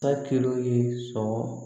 Takilo ye sɔn